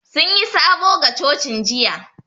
Sun yi sabo ga cocin jiya